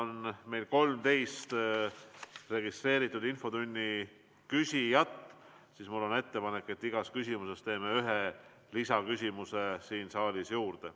Kuna meil on 13 registreeritud küsijat, siis on mul ettepanek, et võtame iga teema puhul ühe lisaküsimuse saalist juurde.